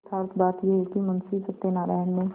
यथार्थ बात यह है कि मुंशी सत्यनाराण ने